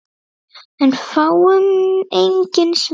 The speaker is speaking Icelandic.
En fáum engin svör.